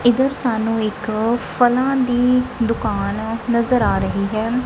ਇਧਰ ਸਾਨੂੰ ਇੱਕ ਫਲਾਂ ਦੀ ਦੁਕਾਨ ਨਜ਼ਰ ਆ ਰਹੀ ਹੈ।